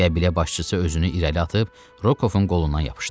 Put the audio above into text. Qəbilə başçısı özünü irəli atıb Rokovun qolundan yapışdı.